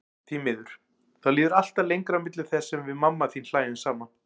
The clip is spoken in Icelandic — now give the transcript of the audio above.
Því miður, þá líður alltaf lengra á milli þess sem við mamma þín hlæjum saman.